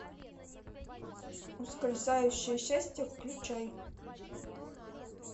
ускользающее счастье включай